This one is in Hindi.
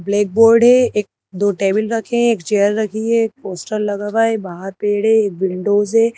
ब्लैक बोर्ड है एक दो टेबल रखे हैं एक चेयर रखी है एक पोस्टर लगा हुआ है बाहर पेड़ है विंडोज़ है।